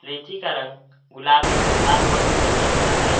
लीची का रंग गुलाबी लाल और सफेद रंग का है।